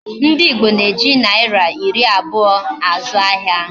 Ndi Igbo na-eji naira iri abuo azu ahia.